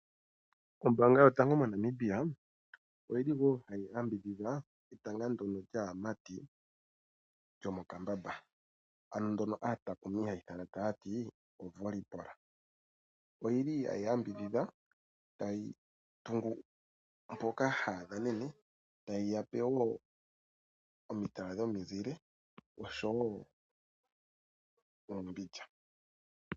Ombaanga yotango moNamibia oyili wo hayi yambidhidha etanga ndono lyaamati lyomokambamba ano ndono aatakumi hayi ithana taya ti 'oVolleyball'. Oyili hayi yambidhidha, tayi tungu mpoka haya dhanene, tayi yape wo omitala dhomizile oshowo oombilya.